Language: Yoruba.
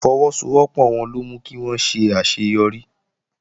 Ìfọwọ́sowọ́pọ̀ wọn ló mú kí wón ṣe àṣeyọrí